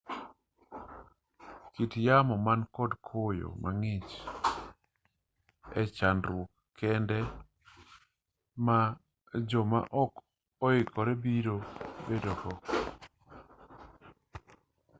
kit yamo man kod koyo mang'ich e-chandruok kende ma jo ma ok oikore biro bedo go